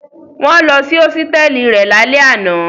Wọ́n lọ sí hósítẹ́ẹ́lì rẹ̀ lálẹ́ àná.